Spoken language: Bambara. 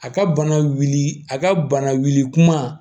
A ka bana wuli a ka bana wuli kuma